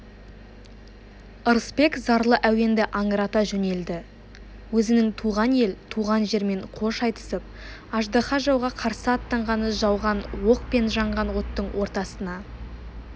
ырысбек зарлы әуенді аңырата жөнелді өзінің туған ел туған жермен қош айтысып аждаһа жауға қарсы аттанғаны жауған оқ пен жанған оттың ортасына